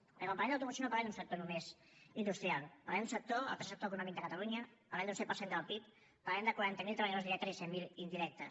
perquè quan parlem d’automoció no parlem d’un sector només industrial parlem d’un sector el tercer sector econòmic de catalunya parlem d’un set per cent del pib parlem de quaranta mil treballadors directes i cent mil indirectes